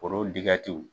Foro